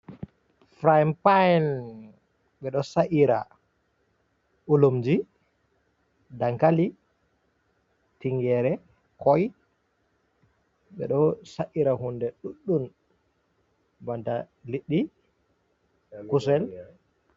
Furaayin payin, ɓe ɗo sa’ira ɓulumji, dankali, tinngeere, koy, ɓe ɗo sa’ira hunde ɗuɗɗum banta, liɗɗi, kusel.